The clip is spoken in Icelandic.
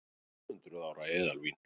Tvöhundruð ára eðalvín